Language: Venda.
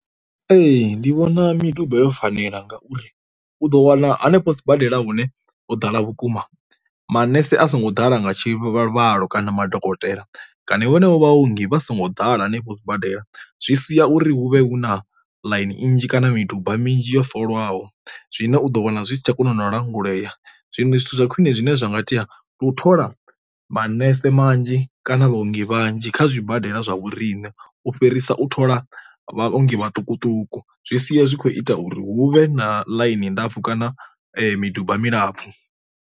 Ee ndi vhona miduba yo fanela ngauri u ḓo wana hanefho sibadela hune ho ḓala vhukuma manese a songo ḓala nga tshivhalo kana madokotela kana vhanevho vhaongi vha songo ḓala hanefho sibadela. Zwi sia uri hu vhe hu na ḽaini nnzhi kana miduba minzhi yo folwaho zwine u ḓo wana zwi si tsha kona u no langulea, zwiṅwe zwithu zwa khwine zwine zwa nga tea u thola manese manzhi kana vhaongi vhanzhi kha zwibadela zwa vhoriṋe u fhirisa u thola vhaongi maṱukuṱuku, zwi sia zwi kho ita uri huvhe na ḽaini ndapfu kana miduba milapfu.